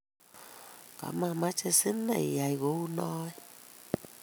Kamameche sinen iyai kou noe